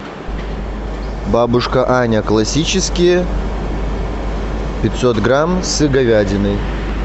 бабушка аня классические пятьсот грамм с говядиной